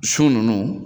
Su ninnu